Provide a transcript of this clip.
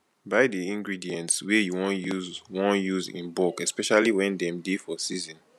buy di ingredients wey you wan use you wan use in bulk especially when dem dey for season